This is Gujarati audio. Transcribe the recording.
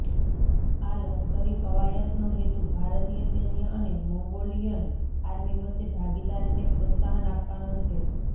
આ લશ્કરી કવાયતનો હેતુ ભારતીય સૈન્ય અને મોંગોલિયન આર્મી વચ્ચે ભાગીદારીને પ્રોત્સાહન આપવાનો છે